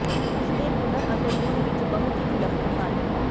ਉਸ ਦੇ ਹੁਨਰ ਅਤੇ ਗੁਣ ਵਿਚ ਬਹੁਤ ਹੀ ਵਿਲੱਖਣ ਹਨ